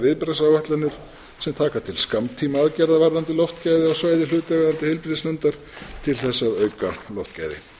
viðbragðsáætlanir sem taka til skammtímaaðgerða varðandi loftgæði á svæði hlutaðeigandi heilbrigðisnefndar til þess að auka loftgæði